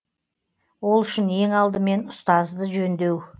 ол үшін ең алдымен ұстазды жөндеу